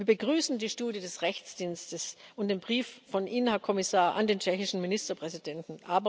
Wir begrüßen die Studie des Juristischen Dienstes und den Brief von Ihnen, Herr Kommissar, an den tschechischen Ministerpräsidenten.